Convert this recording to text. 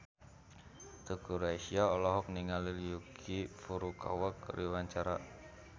Teuku Rassya olohok ningali Yuki Furukawa keur diwawancara